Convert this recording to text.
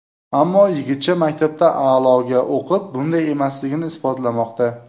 Ammo yigitcha maktabda a’loga o‘qib, bunday emasligini isbotlamoqda.